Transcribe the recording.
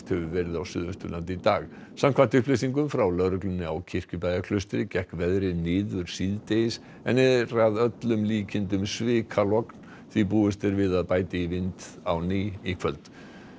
hefur verið á Suðausturlandi í dag samkvæmt upplýsingum frá lögreglunni á Kirkjubæjarklaustri gekk veðrið niður síðdegis en er að öllum líkindum svikalogn því búist er við að bæti í vind á ný í kvöld